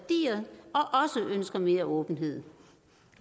ønsker mere åbenhed